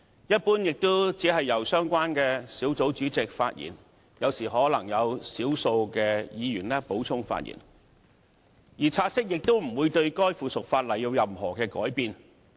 一般而言，也只是由相關小組委員會主席發言，有時可能有少數議員補充發言，而察悉亦不會令附屬法例有任何改變。